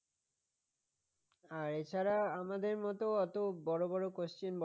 আর এছাড়া আমাদের মত অত বড় বড় question